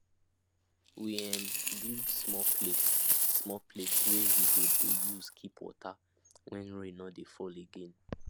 we um build small place small place wey we go dey use keep water when rain no dey fall again